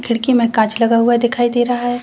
खिड़की में कांच लगा हुआ दिखाई दे रहा है।